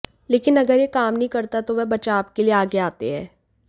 लेकिन अगर यह काम नहीं करता तो वह बचाव के लिए आगे आते हैं